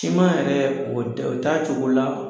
Siman yɛrɛ o t'a cogo la